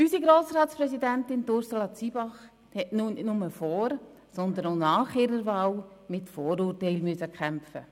Unsere Grossratspräsidentin, Ursula Zybach, hat nicht nur vor, sondern auch nach ihrer Wahl mit Vorurteilen kämpfen müssen.